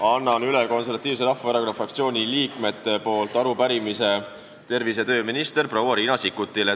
Annan Konservatiivse Rahvaerakonna fraktsiooni liikmete nimel üle arupärimise tervise- ja tööminister proua Riina Sikkutile.